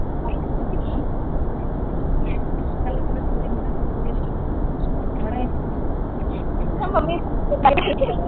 mummy